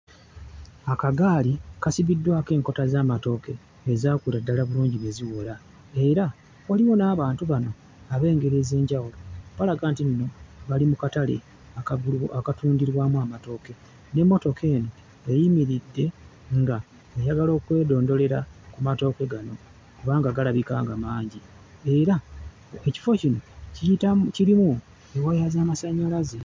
Akagaali kasibiddwako enkota z'amatooke ezaakula ddala bulungi ne ziwola, era waliwo n'abantu bano ab'engeri ez'enjawulo, balaga nti nno bali mu katale akatundirwamu amatooke, n'emmotoka eno eyimiridde ng'eyagala okwedondolera ku matooke gano kubanga galabika nga mangi, era ekifo kino kiyitamu kirimu waya z'amasannyalaze.